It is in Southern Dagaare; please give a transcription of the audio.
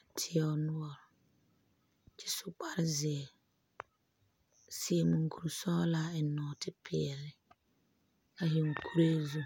a tieo noɔre kyɛ zu kpar zeɛ a seɛ mukure sɔgelaa a eŋ nɔɔte peɛle a zeŋ kuree zu